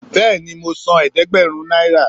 Béèni mo sán ẹdẹgbẹrún náírà